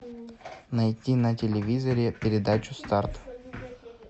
найти на телевизоре передачу старт